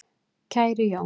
Kæri Jón